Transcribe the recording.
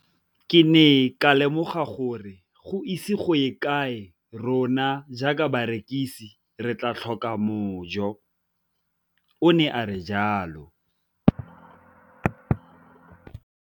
Ke ne ka lemoga gore go ise go ye kae rona jaaka barekise re tla tlhoka mojo, o ne a re jalo.